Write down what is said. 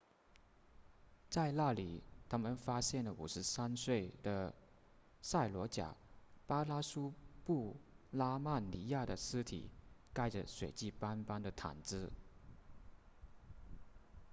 在那里他们发现了53岁的萨罗贾巴拉苏布拉曼尼亚的尸体盖着血迹斑斑的毯子